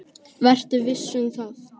Vertu viss um það.